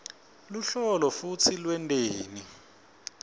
luhlolo futsi lwenteni